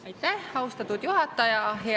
Aitäh, austatud juhataja!